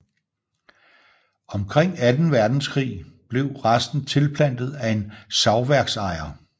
Omkring anden verdenskrig blev resten tilplantet af en savværksejer